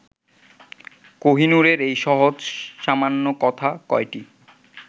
কোহিনূরের এই সহজ-সামান্য কথা কয়টি